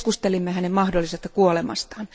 Keskustelimme hänen mahdollisesta kuolemastaan.